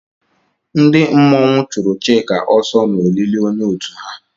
Ndị mmọnwụ chụrụ Chika ọsọ n'olili onye otu ha